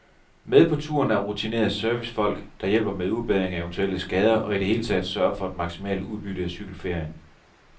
Med på turen er rutinerede servicefolk, der hjælper med udbedring af eventuelle skader og i det hele taget sørger for et maksimalt udbytte af cykelferien.